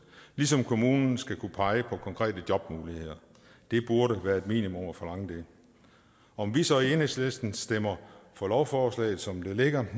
ligesom kommunen skal kunne pege på konkrete jobmuligheder det burde være et minimum at forlange det om vi så i enhedslisten stemmer for lovforslaget som det ligger